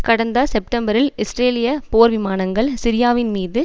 கடந்த செப்டம்பரில் இஸ்ரேலிய போர்விமானங்கள் சிரியாவின் மீது